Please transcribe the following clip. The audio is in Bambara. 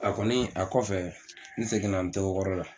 A kɔni a kɔfɛ n seginna n togo kɔrɔ la.